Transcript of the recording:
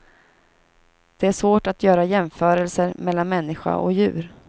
Det är svårt att göra jämförelser mellan människa och djur.